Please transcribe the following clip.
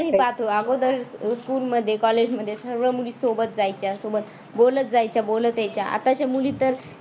आपणही पाहतो अगोदर school मध्ये college मध्ये सर्व मुली सोबत जायच्या सोबत बोलत जायच्या बोलते यायच्या. आताच्या मुली तर